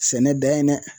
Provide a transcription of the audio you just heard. Sɛnɛ dayɛlɛ